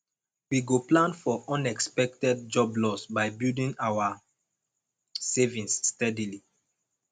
we go plan for unexpected job loss by building our savings steadily